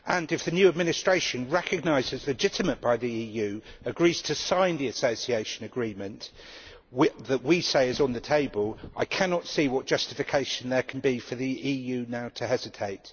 If the new administration, recognised as legitimate by the EU, agrees to sign the Association Agreement that we say is on the table, I cannot see what justification there could now be for the EU to hesitate.